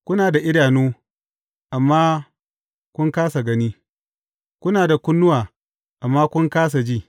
Kuna da idanu, amma kun kāsa gani, kuna da kunnuwa, amma kun kāsa ji?